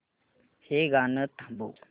हे गाणं थांबव